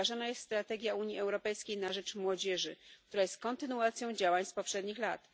wdrażana jest strategia Unii Europejskiej na rzecz młodzieży, która jest kontynuacją działań z poprzednich lat.